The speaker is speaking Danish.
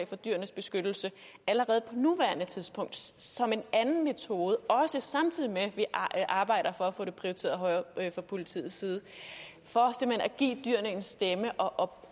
fra dyrenes beskyttelse allerede på nuværende tidspunkt som en anden metode samtidig med at vi arbejder for at få det prioriteret højere fra politiets side for simpelt hen at give dyrene en stemme og